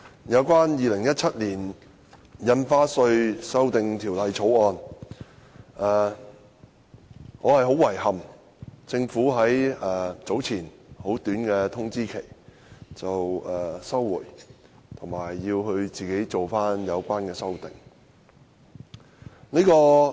有關《2017年印花稅條例草案》，我很遺憾政府早前給予很短的通知期，表示會提出休會待續的議案，並自行作出有關修訂。